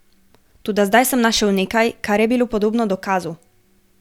Toda zdaj sem našel nekaj, kar je bilo podobno dokazu.